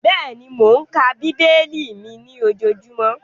Bẹ́ẹ̀ni, mò ń ka bíbélì mi ní ojojúmọ́